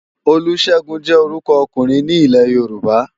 Olusegun jè órùkò òkúrin ni Ilè-Yoruba